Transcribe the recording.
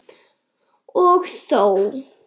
Og þó?